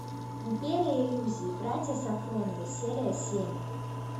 империя иллюзий братья сафроновы серия семь